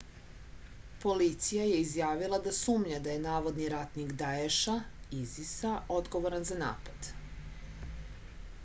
полиција је изјавила да сумња да је наводни ратник даеша isis-а одговоран за напад